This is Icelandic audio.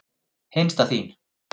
Hinsta þín.